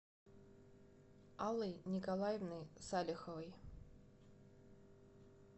аллой николаевной салиховой